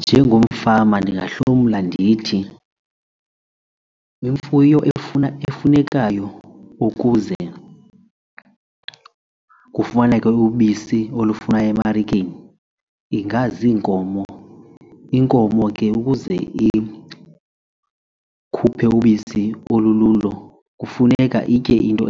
Njengomfama ndingahlomla ndithi imfuyo efuna efunekayo ukuze kufumaneke ubisi olufunwa emarikeni ingaziinkomo, inkomo ukuze ke ikhuphe ubisi olululo kufuneka itye iinto